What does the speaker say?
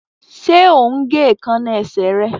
Ṣe o ń gé Èékánná esè rẹ?